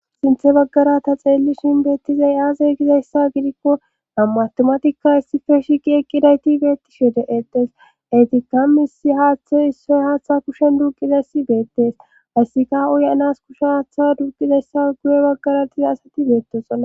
Sinthe baggarata xeellishin beettizay aaze gizayssa gidikko nammaattomatikka issife shiqi eqqidayti beettishe de7etes etikka misi haaththoy issoy haaththa kushen duuqizayssi beettes hayssikah uy-anas kushe haaththa duuqizayssa guye baggaratiza asati beettoxola